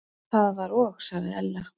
Það var og sagði Ella.